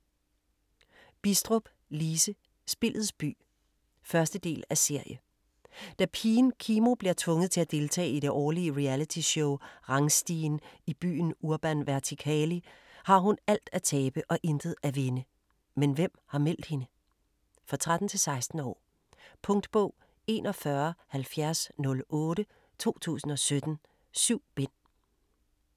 Bidstrup, Lise: Spillets by 1. del af serie. Da pigen Kimo bliver tvunget til at deltage i det årlige realityshow "Rangstigen" i byen Urban Vertikali, har hun alt at tabe og intet at vinde. Men hvem har meldt hende? For 13-16 år. Punktbog 417008 2017. 7 bind.